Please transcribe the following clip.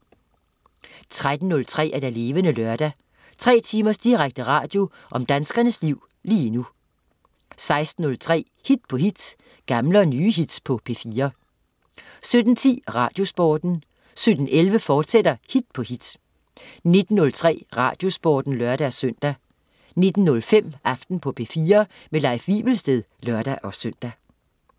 13.03 Levende Lørdag. Tre timers direkte radio om danskernes liv lige nu 16.03 Hit på hit. Gamle og nye hits på P4 17.10 Radiosporten 17.11 Hit på hit, fortsat 19.03 Radiosporten (lør-søn) 19.05 Aften på P4. Leif Wivelsted (lør-søn)